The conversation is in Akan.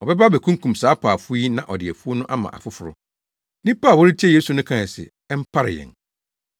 Ɔbɛba abekunkum saa apaafo yi na ɔde afuw no ama afoforo.” Nnipa a wɔretie Yesu no kae se, “Ɛmpare yɛn!”